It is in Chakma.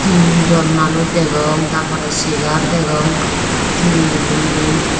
tin jon manuj degong tar pore chair degong tinen.